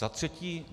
Za třetí.